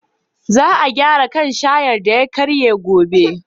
Za a gyara kan shayar da ya karye gobe.